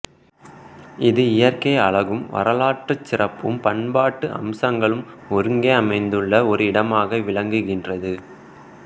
இது இயற்கை அழகும் வரலாற்றுச் சிறப்பும் பண்பாட்டு அம்சங்களும் ஒருங்கே அமைந்துள்ள ஒரு இடமாக விளங்குகின்றது